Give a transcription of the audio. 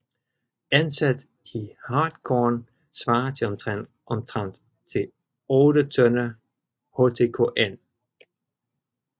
Ansat i hartkorn svarer det omtrent til 8 tønder htkn